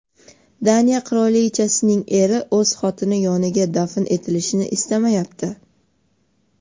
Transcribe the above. Daniya qirolichasining eri o‘z xotini yoniga dafn etilishini istamayapti.